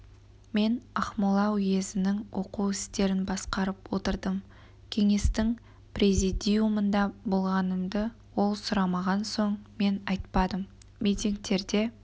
мен ақмола уезінің оқу істерін басқарып отырдым кеңестің президиумында болғанымды ол сұрамаған соң мен айтпадым митингтерде